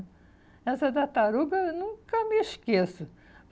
Essa tartaruga, eu nunca me esqueço.